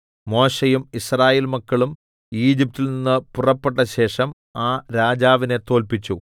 മോശെയും യിസ്രായേൽമക്കളും ഈജിപ്റ്റിൽ നിന്ന് പുറപ്പെട്ടശേഷം ആ രാജാവിനെ തോല്പിച്ചു